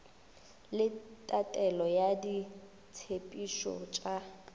le tatelelo ya ditshepetšo tša